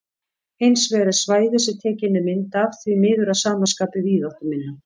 Hins vegar er svæðið sem tekin er mynd af því miður að sama skapi víðáttuminna.